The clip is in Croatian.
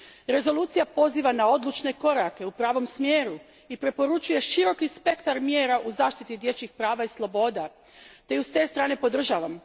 Rezolucija poziva na odlučne korake u pravom smjeru i preporučuje široki spektar mjera za zaštitu dječjih prava i sloboda te ju s te strane podržavam.